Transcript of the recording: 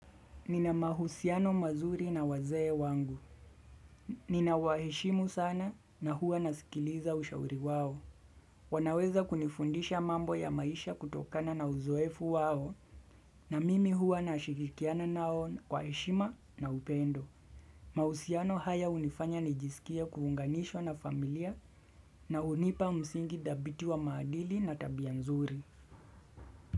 Nina mahusiano mazuri na wazee wangu Ninawaheshimu sana na huwa nasikiliza ushauri wao wanaweza kunifundisha mambo ya maisha kutokana na uzoefu wao na mimi huwa nashirikiana nao kwa heshima na upendo mahusiano haya hunifanya nijisikie kuunganishwa na familia na hunipa msingi dhabiti wa maadili na tabia nzuri.